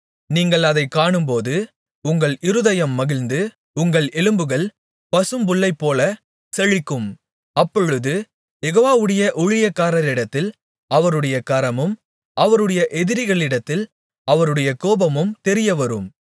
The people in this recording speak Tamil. நீங்கள் அதைக் காணும்போது உங்கள் இருதயம் மகிழ்ந்து உங்கள் எலும்புகள் பசும்புல்லைப்போலச் செழிக்கும் அப்பொழுது யெகோவாவுடைய ஊழியக்காரரிடத்தில் அவருடைய கரமும் அவருடைய எதிரிகளிடத்தில் அவருடைய கோபமும் தெரியவரும்